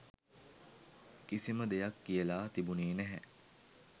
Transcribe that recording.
කිසිම දෙයක් කියලා තිබුණෙ නැහැ.